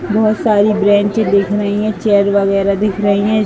बहोत सारी बेंच दिख रही हैं। चेयर वगैरह दिख रही हैं।